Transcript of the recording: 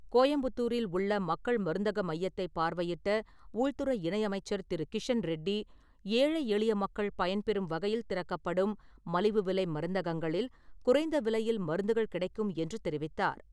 கோயம்புத்தூரில் உள்ள மக்கள் மருந்தகமையத்தை பார்வையிட்ட உள்துறை இணையமைச்சர் திரு. கிஷன் ரெட்டி, ஏழை எளிய மக்கள் பயன்பெறும் வகையில் திறக்கப்படும் மலிவு விலை மருந்தகங்களில், குறைந்த விலையில் மருந்துகள் கிடைக்கும் என்று தெரிவித்தார்.